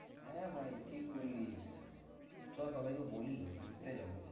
হ্যাঁ ভাই ঠিক বললি। চো সবাইকে বলি ঘুরতে যাবো।